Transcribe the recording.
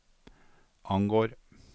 angår